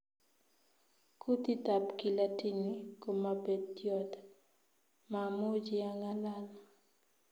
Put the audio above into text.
Kutit tab Kilatini komapetyon, mamuchi angalal